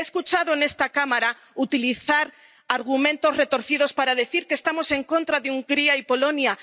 He escuchado en esta Cámara utilizar argumentos retorcidos para decir que estamos en contra de Hungría y Polonia.